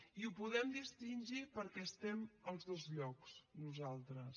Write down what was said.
i ho podem distingir perquè estem als dos llocs nosaltres